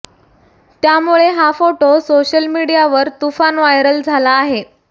त्यामुळे हा photo social मीडियावर तुफान व्हायरल झाला आहे